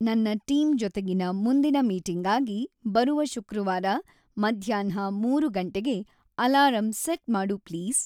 ನನ್ನ ಟೀಂ ಜೊತೆಗಿನ ಮುಂದಿನ ಮೀಟಿಂಗ್‌ಗಾಗಿ ಬರುವ ಶುಕ್ರವಾರ ಮಧ್ಯಾಹ್ನ ಮೂರು ಗಂಟೆಗೆ ಅಲಾರಂ ಸೆಟ್ ಮಾಡು ಪ್ಲೀಸ್